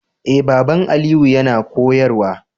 Eh baban Aliyu yana koyarwa